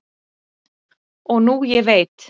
og nú ég veit